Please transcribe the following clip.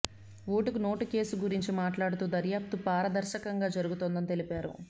ఓటుకు నోటు కేసు గురించి మాట్లాడుతూ దర్యాప్తు పారదర్శకంగా జరుగుతోందని తెలిపారు